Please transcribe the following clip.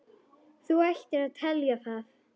Þú ættir að telja það.